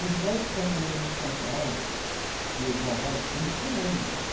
Os melhores cabeleireiros de São Paulo, e eu vou a vários cursos, são homens.